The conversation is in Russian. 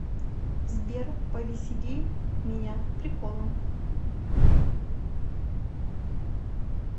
сбер повесели меня приколом